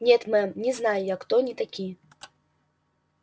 нет мэм не знаю я кто они такие